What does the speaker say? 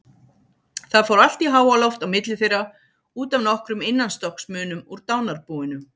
Það fór allt í háaloft á milli þeirra út af nokkrum innanstokksmunum úr dánarbúinu.